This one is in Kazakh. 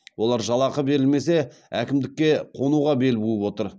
олар жалақы берілмесе әкімдікке қонуға бел буып отыр